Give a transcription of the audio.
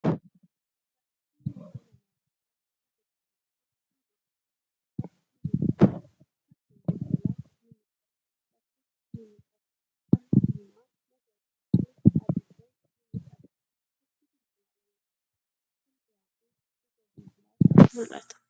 Barreeffamni afaan Amaariffaan barreeffamee fi Ingiliffaan barreeffame ni mul'ata. Fakkiin bilbilaa ni mul'ata. Lakkoofsi ni mul'ata. Haalluu diimaa, magariisa fi adii ta'e ni mul'ata. Fakkii bilbilaa lamatu jira. Fuuldura fi duuba bilbilaatu mul'ata.